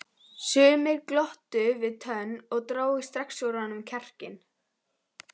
Sumir glottu við tönn og drógu strax úr honum kjarkinn.